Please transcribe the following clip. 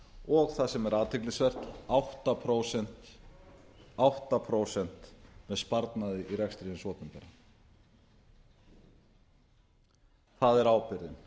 og það sem er athyglisvert átta prósent með sparnaði í rekstri hins opinbera það er ábyrgðin